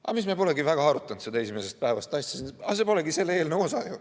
Ah mis, me polegi väga arutanud seda esimesest päevast asja, aga see polegi selle eelnõu osa.